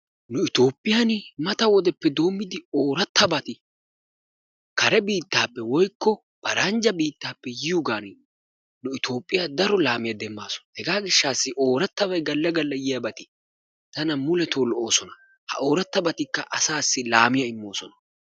Nu itoophphiyan mata wodeppe doommidi oorattabat kare biittaappe/paranjja biittaappe yiyogaani nu itoophphiya daro laamiya demmaasu. Hegaa gishshataassi oorattabay galla galla yiyageeti tana muletoo lo'oosona. Ha oorattabatikka asaassi laamiya immoosona.